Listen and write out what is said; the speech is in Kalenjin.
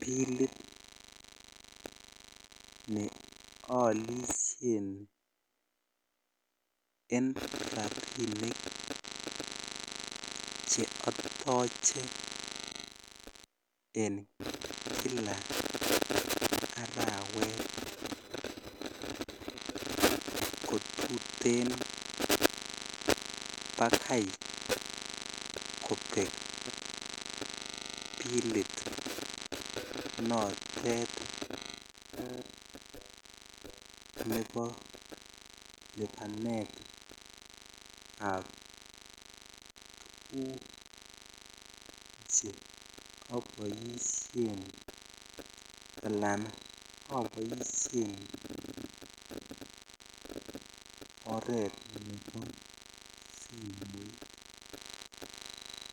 bilit ne olishen en rabinik che otoche en kila ak awekte kotuten bakai kobek bilit notet nebo libanetab tuguk che oboishen alan aboishen oret nebo simoit.